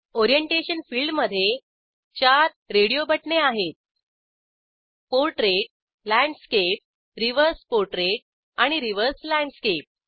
orientation फिल्डमधे 4 radio बटणे आहेत पोर्ट्रेट लँडस्केप रिव्हर्स पोर्ट्रेट आणि रिव्हर्स लँडस्केप